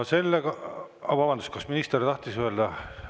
Vabandust, kas minister tahtis midagi öelda?